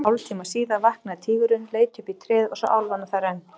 Hálftíma síðar vaknaði tígurinn, leit upp í tréð og sá álfana þar enn.